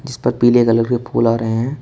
जिस पर पीले कलर के फूल आ रहे हैं।